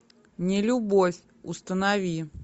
нелюбовь установи